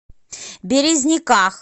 березниках